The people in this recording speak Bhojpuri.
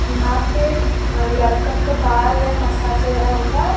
यहाँ पे अ लड़कन के बाल या मसाज वगैरह होला।